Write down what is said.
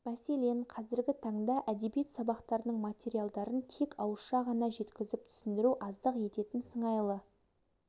мәселен қазіргі таңда әдебиет сабақтарының материалдарын тек ауызша ғана жеткізіп түсіндіру аздық ететін сыңайлы